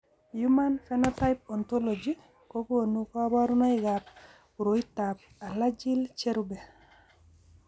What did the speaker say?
Human Phenotype Ontology kokonu kabarunoikab koriotoab Alagille cherube.